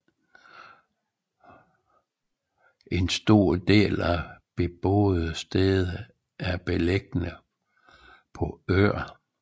En stor del af de beboede steder er beliggende på øer